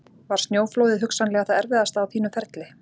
Var snjóflóðið hugsanlega það erfiðasta á þínu ferli?